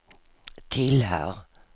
tillhör